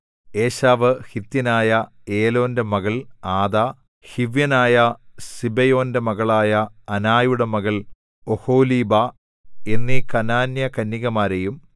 ഏശാവ് ഹിത്യനായ ഏലോന്റെ മകൾ ആദാ ഹിവ്യനായ സിബെയോന്‍റെ മകളായ അനായുടെ മകൾ ഒഹൊലീബാ എന്നീ കനാന്യകന്യകമാരെയും